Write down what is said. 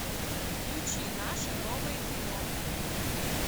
включи наше новое кино